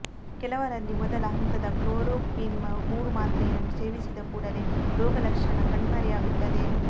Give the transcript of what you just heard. ಕೆಲವರಲ್ಲಿ ಮೊದಲ ಹಂತದ ಕ್ಲೋರೋಕ್ವಿನ್ ಮೂರು ಮಾತ್ರೆಯನ್ನು ಸೇವಿಸಿದ ಕೂಡಲೇ ರೋಗಲಕ್ಷಣ ಕಣ್ಮರೆಯಾಗುತ್ತದೆ